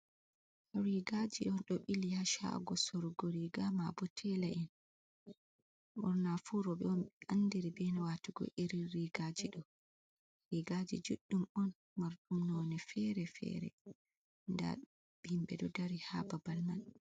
Rigaji on ɗo ɓili ha shago sorugo riga ma bo tela’en, ɓurna fu roɓɓe on be andiri be watugo irin rigaji ɗo, rigaji juɗɗum on marɗum none fere-fere, nda himɓɓe ɗo dari ha babal man.